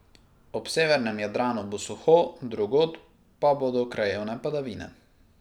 Ob severnem Jadranu bo suho, drugod pa bodo krajevne padavine.